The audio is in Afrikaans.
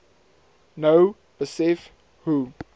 nou besef hoe